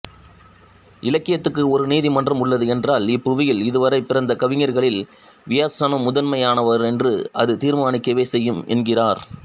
இலக்கியத்துக்கு ஒரு நீதிமன்றம் உள்ளது என்றால் இப்புவியில் இதுவரை பிறந்த கவிஞர்களில் வியாசனே முதன்மையானவரென்று அது தீர்மானிக்கவே செய்யும் என்கிறார்